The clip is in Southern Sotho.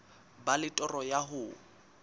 ba le toro ya ho